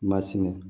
Masini